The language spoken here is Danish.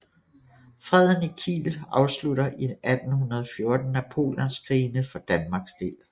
Freden i Kiel afslutter i 1814 Napoleonskrigene for Danmarks del